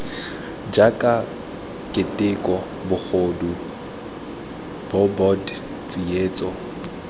jaaka keteko bogodu bobod tsietso